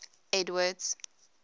edward's